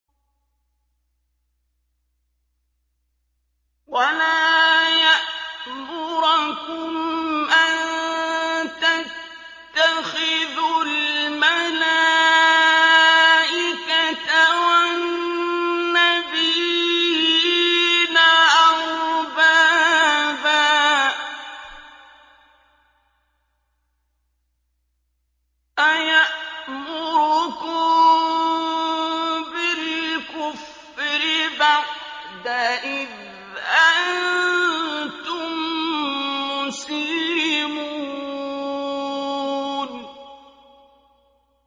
وَلَا يَأْمُرَكُمْ أَن تَتَّخِذُوا الْمَلَائِكَةَ وَالنَّبِيِّينَ أَرْبَابًا ۗ أَيَأْمُرُكُم بِالْكُفْرِ بَعْدَ إِذْ أَنتُم مُّسْلِمُونَ